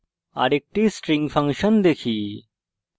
আরেকটি string function দেখি